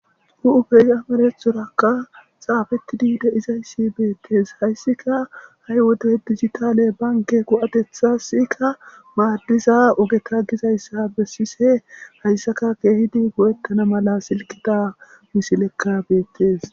Hu'ufeyamarethorakka xaafetidi de izayssi beettes hayssika ha'i wode digitale banke go7atetha sika maaddiza ogeka gizayssa bessise hayssaka keehidi go'ettana mala silkita misilekka beettes.